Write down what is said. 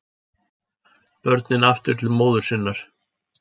Börnin aftur til móður sinnar